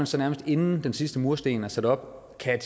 så nærmest inden den sidste mursten er sat op kan